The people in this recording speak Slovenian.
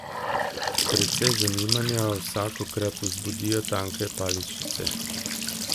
Precej zanimanja vsakokrat vzbudijo tanke paličice.